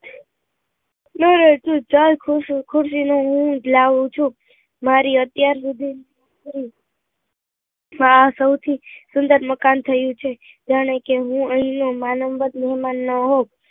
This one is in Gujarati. ખુશી ને હું જ લાવું છું મારી અત્યાર સુધી ની સૌથી સુંદર મકાન થયું છે જાને કે મહેમાન હોઉં